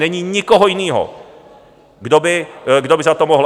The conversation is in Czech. Není nikoho jiného, kdo by za to mohl.